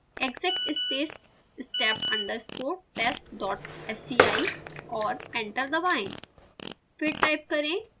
type करें: exec space step underscore test dot sci और enter दबाएँ